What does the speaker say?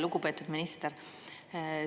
Lugupeetud minister!